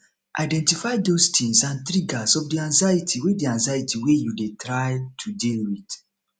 identify those things and triggers of di anxiety wey di anxiety wey you dey try to deal with